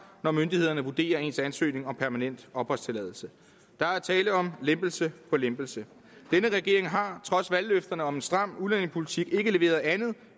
når myndighederne vurderer ens ansøgning om permanent opholdstilladelse der er tale om lempelse på lempelse denne regering har trods valgløfterne om en stram udlændingepolitik ikke leveret andet